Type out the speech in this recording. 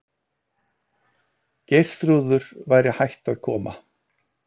Geirþrúður væri hætt að koma.